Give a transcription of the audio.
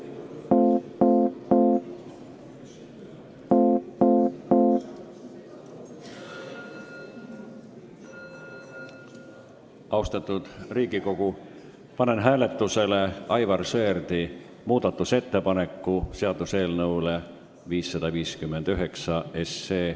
Austatud Riigikogu, panen hääletusele Aivar Sõerdi muudatusettepaneku seaduseelnõu 559 kohta.